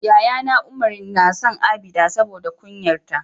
yayana Umar nason abida saboda kunyar ta